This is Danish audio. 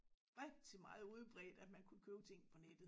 Rigtig meget udbredt at man kunne købe ting på nettet